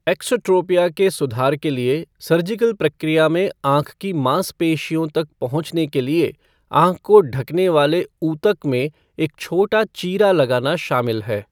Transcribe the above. Exotropia के सुधार के लिए सर्जिकल प्रक्रिया में आँख की मांसपेशियों तक पहुंचने के लिए आँख को ढंकने वाले ऊतक में एक छोटा चीरा लगाना शामिल है।